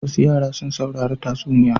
Wasu yara sun saurari tatsuniya.